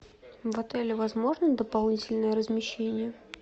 в отеле возможно дополнительное размещение